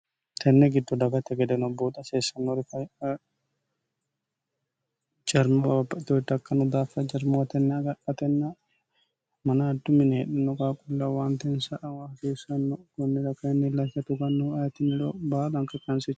tenne giddu dagate gedeno booxo haseessannorifjarmaoatordakkanno daaffa jarmoo tenni agaratenna manaaddu mini heedhinno gaaqullaawaantensa awa hasiissanno kunnira kaayinni lacha tugannohu ayitini loo baal anka kanse